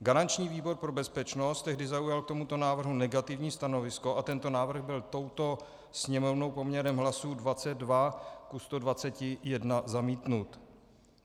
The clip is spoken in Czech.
Garanční výbor pro bezpečnost tehdy zaujal k tomuto návrhu negativní stanovisko a tento návrh byl touto Sněmovnou poměrem hlasů 22 ku 121 zamítnut.